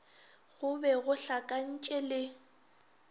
go be go hlakantše le